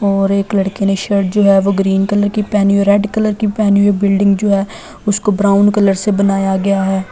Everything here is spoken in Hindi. और एक लड़के ने शर्ट जो है वो ग्रीन कलर की पहनी हुई रेड कलर की पहनी हुई है बिल्डिंग जो है उसको ब्राउन कलर से बनाया गया है।